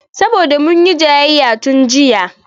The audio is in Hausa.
Saboda munyi jayayya tun jiya